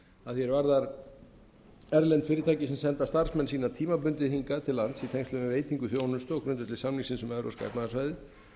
að því er varðar erlend fyrirtæki sem senda starfsmenn sína tímabundið hingað til lands í tengslum við veitingu þjónustu á grundvelli samningsins um evrópska efnahagssvæðið